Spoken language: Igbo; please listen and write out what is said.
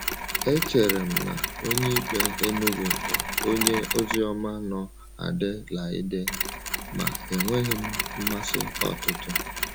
Echere m na Onyeikpe Enugu bụ onye oziọma nọ Adelaide, ma enweghị m mmasị ọtụtụ.